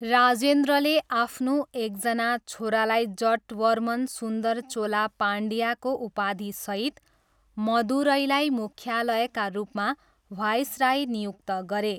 राजेन्द्रले आफ्नो एकजना छोरालाई जटवर्मन सुन्दर चोला पाण्ड्याको उपाधिसहित मदुरैलाई मुख्यालयका रूपमा वाइसराय नियुक्त गरे।